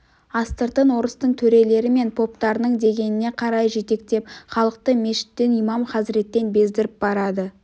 астыртын орыстың төрелері мен поптарының дегеніне қарай жетектеп халықты мешіттен имам хазіреттен бездіріп барады